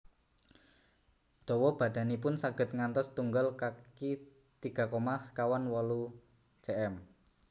Dawa badanipun saged ngantos setunggal kaki tiga koma sekawan wolu cm